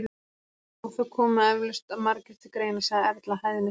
Já, það koma eflaust margir til greina- sagði Erla hæðnislega.